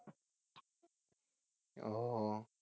ও